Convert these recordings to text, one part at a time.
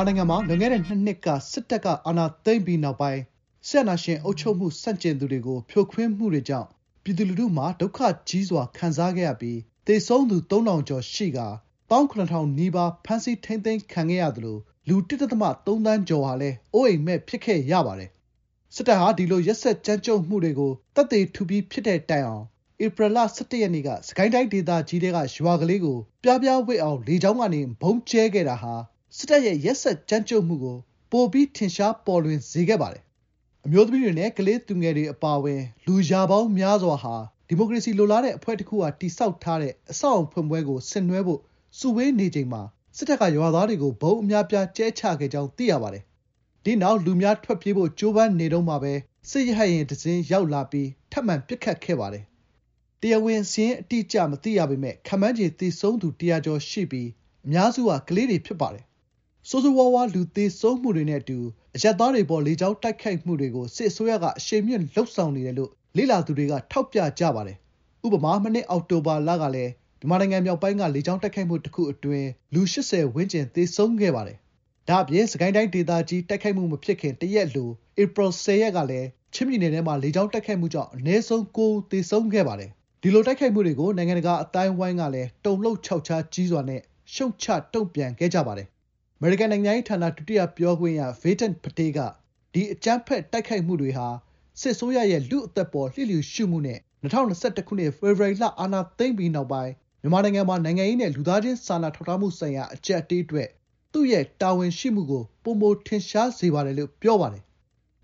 ာနိုင်ငံမှာ လွန်ခဲ့တဲ့ ၂ နှစ် စစ်တပ်က အာဏာသိမ်းပြီးနောက်ပိုင်း စစ်အာဏာရှင် အုပ်ချုပ်မှု ဆန့်ကျင်သူတွေကို ဖြိုခွင်းမှုတွေကြောင့် ပြည်သူလူထုမှာ ဒုက္ခကြီးစွာ ခံစားခဲ့ရပြီး သေဆုံးသူ ၃,၀၀၀ ကျော်ရှိကာ ၁၇,၀၀၀ နီးပါး ဖမ်းဆီး ထိန်းသိမ်းခံခဲ့ရသလို လူ (၁ ဒသမ ၃ သန်း)ကျော်ဟာလည်း အိုးအိမ်မဲ့ ဖြစ်ခဲ့ရပါတယ်။ စစ်တပ်ဟာ ဒီလို ရက်စက်ကြမ်းကြုတ်မှုတွေကို သက်သေထူပြီး ဖြစ်တဲ့တိုင်အောင် ဧပြီလ ၁၁ ရက်နေ့က စစ်ကိုင်းတိုင်း ဒေသကြီးထဲက ရွာကလေးကို ပြားပြားဝပ်အောင် လေကြောင်းကနေ ဗုံးကြဲခဲ့တာဟာ စစ်တပ်ရဲ့ ရက်စက်ကြမ်းကြုတ်မှုကို ပိုပြီး ထင်ရှားပေါ်လွင်စေခဲ့ပါတယ်။ အမျိုးသမီးတွေနဲ့ ကလေးသူငယ်တွေ အပါအဝင် လူရာပေါင်းများစွာဟာ ဒီမိုကရေစီ လိုလားတဲ့အဖွဲ့တခုက တည်ဆောက်ထားတဲ့ အဆောက်အအုံ ဖွင့်ပွဲကို ဆင်နွှဲဖို့ စုဝေးနေချိန်မှာ စစ်တပ်က ရွာသားတွေကို ဗုံးအများအပြား ကြဲချခဲ့ကြောင်း သိရပါတယ်။ ဒီနောက် လူများထွက်ပြေးဖို့ ကြိုးပမ်းနေတုန်းမှာပဲ စစ်ရဟတ်ယာဉ် ရောက်လာပြီး ထပ်မံ ပစ်ခတ်ခဲ့ပါတယ်။ တရားဝင် စာရင်းအတိအကျ မသိရပေမယ့် ခန့်မှန်းခြေ သေဆုံးသူ ၁၀၀ ကျော်ရှိပြီး အများစုမှာ ကလေးငယ်များဖြစ်ပါတယ်။ ဆိုးဆိုးရွားရွား လူသေဆုံးမှုတွေနဲ့အတူ အရပ်သားတွေအပေါ် လေကြောင်းတိုက်ခိုက်မှုတွေကို စစ်အစိုးရက အရှိန်မြှင့်လုပ်ဆောင်နေတယ်လို့ လေ့လာသူတွေက ထောက်ပြကြပါတယ်။ ဥပမာ မနှစ် အောက်တိုဘာလကလည်း မြန်မာနိုင်ငံမြောက်ပိုင်းက လေကြောင်းတိုက်ခိုက်မှု တခုအတွင်း လူ ၈၀ ဝန်းကျင် သေဆုံးခဲ့ပါတယ်။ ဒါ့အပြင် စစ်ကိုင်းတိုင်းဒေသကြီး တိုက်ခိုက်မှု မဖြစ်ခင် တရက်အလို ဧပြီ ၁၀ ရက်နေ့ကလည်း ချင်းပြည်နယ်ထဲမှာ လေကြောင်းတိုက်ခိုက်မှုကြောင့် အနည်းဆုံး ၉ ဦး သေဆုံးခဲ့ပါတယ်။ ဒီလို တိုက်ခိုက်မှုတွေကို နိုင်ငံတကာအသိုင်းအဝိုင်းကလည်း တုန်လှုပ်ခြောက်ခြား ကြီးစွာနဲ့ ရှုတ်ချ တုံ့ပြန်ခဲ့ပါတယ်။ အမေရိကန်နိုင်ငံခြားရေးဌာန ဒုတိယပြောခွင့်ရ Vedant Patel က “ ဒီ အကြမ်းဖက် တိုက်ခိုက်မှုတွေဟာ စစ်အစိုးရရဲ့ လူ့အသက်အပေါ် လျစ်လျူရှုမှုနဲ့ ၂၀၂၁ ခုနှစ် ဖေဖော်ဝါရီလ အာဏာသိမ်းပြီးနောက် မြန်မာနိုင်ငံမှာ နိုင်ငံရေးနဲ့ လူသားချင်း စာနာထောက်ထားမှုဆိုင်ရာ အကျပ်အတည်းအတွက် သူ့ရဲ့တာဝန်ရှိမှုကို ပိုမိုထင်ရှားစေပါတယ်။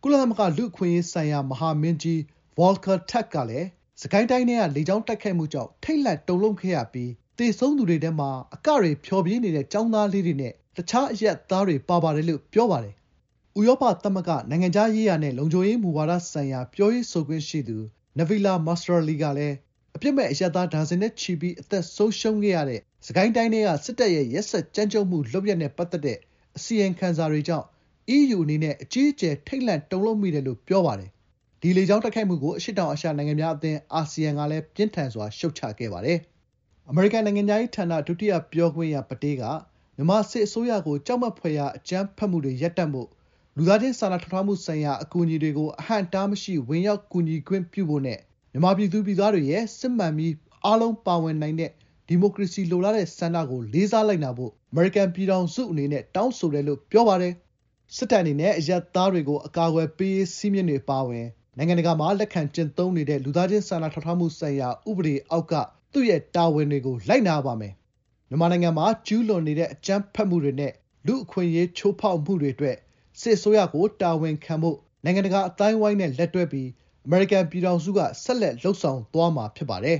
” ကုလသမဂ္ဂလူ့အခွင့်အရေးဆိုင်ရာ မဟာမင်းကြီး ဗော်လကာ တာ့ခ် Volker Turk ကလည်း စစ်ကိုင်းတိုင်း ထဲက လေကြောင်းတိုက်ခိုက်မှုကြောင့် ထိတ်လန့်တုန်လှုပ်ခဲ့ရပြီး “သေဆုံးသူတွေထဲမှာ အကတွေ ဖျော်ဖြေနေတဲ့ ကျောင်းသားလေးတွေနဲ့ တခြားအရပ်သားတွေ ပါပါတယ်” လို့ ပြောပါတယ်။ ဥရောပသမဂ္ဂ နိုင်ငံခြားရေးရာနဲ့ လုံခြုံရေးမူဝါဒဆိုင်ရာ ပြောရေးဆိုခွင့်ရှိသူ နဗီလာ မာစရာလီ Nabila Massrali ကလည်း “အပြစ်မဲ့ အရပ်သား ဒါဇင်နဲ့ချီပြီး အသက်ဆုံးရှုံးခဲ့ရတဲ့ စစ်ကိုင်းတိုင်းထဲက စစ်တပ်ရဲ့ ရက်စက်ကြမ်းကြုတ်မှု လုပ်ရပ်နဲ့ပတ်သက်တဲ့ အစီရင်ခံစာတွေကြောင့် အီးယူအနေနဲ့ အကြီးအကျယ် ထိတ်လန့် တုန်လှုပ်မိတယ်”လို့ ပြောပါတယ်။ ဒီလေကြောင်းတိုက်ခိုက်မှုကို အရှေ့တောင်အာရှနိုင်ငံများအသင်း အာဆီယံကလည်း ပြင်းထန်စွာ ရှုတ်ချခဲ့ပါတယ်။ အမေရိကန်နိုင်ငံခြားရေးဌာန ဒုတိယပြောခွင့်ရ Vedant Patel ပတေးက “ မြန်မာစစ်အစိုးရကို ပြောလိုတာက ကြောက်မက်ဖွယ်ရာ အကြမ်းဖက်မှုတွေ ရပ်တန့်ဖို့၊ လူသားချင်းစာနာထောက်ထားမှုဆိုင်ရာ အကူအညီတွေကို အဟန့်အတားမရှိ ဝင်ရောက် ကူညီခွင့်ပြုဖို့နဲ့ မြန်မာပြည်သူပြည်သားတွေရဲ့ စစ်မှန်ပြီး အားလုံးပါဝင်နိုင်တဲ့ ဒီမိုကရေစီ လိုလားတဲ့ဆန္ဒကို လေးစားလိုက်နာဖို့ အမေရိကန်ပြည်ထောင်စုအနေနဲ့ တောင်းဆိုပါတယ်” လို့ ပြောပါတယ်။ “စစ်တပ်အနေနဲ့ အရပ်သားတွေကို အကာအကွယ်ပေးရေး စည်းမျဉ်းတွေ အပါအဝင် နိုင်ငံတကာမှာ လက်ခံကျင့်သုံးနေတဲ့ လူသားချင်း စာနာထောက်ထားမှုဆိုင်ရာ ဥပဒေအောက်က သူ့ရဲ့တာဝန်တွေကို လိုက်နာရပါမယ်။ မြန်မာနိုင်ငံမှာ ကျူးလွန်နေတဲ့ အကြမ်းဖက်မှုတွေနဲ့ လူ့အခွင့်အရေး ချိုးဖောက်မှုတွေအတွက် စစ်အစိုးရကို တာဝန်ခံဖို့ နိုင်ငံတကာ အသိုင်းအဝိုင်းနဲ့လက်တွဲပြီး အမေရိကန်ပြည်ထောင်စုက ဆက်လက် လုပ်ဆောင်သွားမှာ ဖြစ်ပါတယ်